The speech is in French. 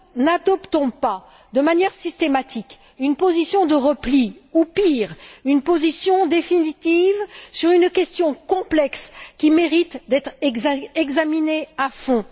N'adoptons pas de manière systématique une position de repli ou pire, une position définitive sur une question complexe qui mérite d'être examinée à fond.